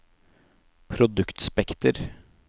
produktspekter